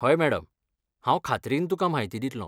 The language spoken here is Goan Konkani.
हय मॅडम, हांव खात्रीन तुकां म्हायती दित्लों.